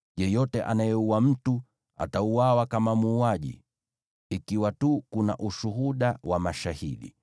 “ ‘Yeyote anayeua mtu atauawa kama muuaji ikiwa tu kuna ushuhuda wa mashahidi.